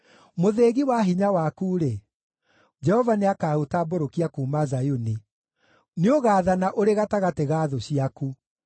Mũthĩgi wa hinya waku-rĩ, Jehova nĩakaũtambũrũkia kuuma Zayuni; nĩũgaathana ũrĩ gatagatĩ ga thũ ciaku.